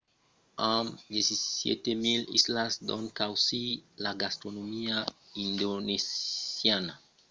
amb 17 000 islas d’ont causir la gastronomia indonesiana es un tèrme generic que cobrís una vasta varietat de cosinas regionalas que se tròban a travèrs de la nacion